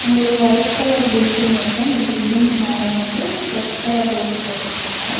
ஒரு white colour building இருக்கு அந்த பில்டிங்க் மேல வந்து ரெட் கலர் ரூஃப் போட்ருக்காங்க.